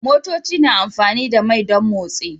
Motoci na amfani da mai don motsi